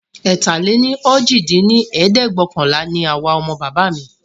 ẹ̀ta-lé-ní-ojì dín ní ẹ̀ẹ́dẹ́gbẹ́ọ̀kànlá ní àwa ọmọ bàbá mí